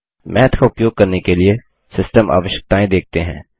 माथ का उपयोग करने के लिए सिस्टम्स आवश्यकताएं देखते हैं